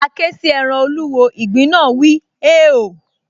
A ké sí ẹran olúwo, ìgbín náà wíi, “hèéò”